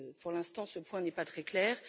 Pour l'instant, ce point n'est pas très clair.